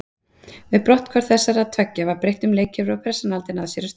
Við brotthvarf þessara tveggja var breytt um leikkerfi og pressan aldrei náð sér á strik.